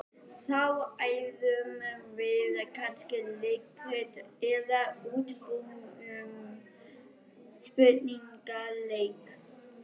Þá æfðum við kannski leikrit eða útbjuggum spurningaleik.